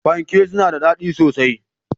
Fanke suna da daɗi sosai.